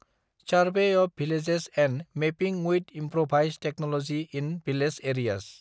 survey of village and mapping with improvised technology in village areas